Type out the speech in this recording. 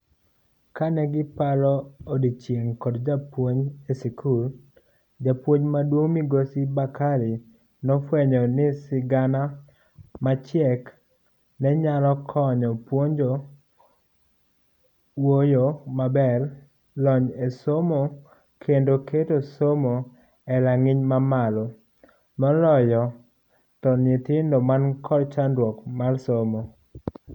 Kane giparo odiechieng' kod jopuonj e sikul, japuonj maduong'Migosi Bakari nofuenyo ni sigana machiek nenyalo konyo puonjo wuoyo maber ,lony e somo kendo keto somo erang'iny mamalo moloyo to nyithindo man kod chandruok mar somo.